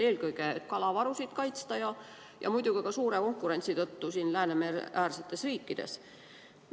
Seda eelkõige selleks, et kalavarusid kaitsta, aga muidugi ka seoses suure konkurentsiga Läänemereäärsetes riikides.